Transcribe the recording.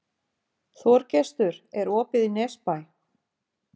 Þorgestur, er opið í Nesbæ?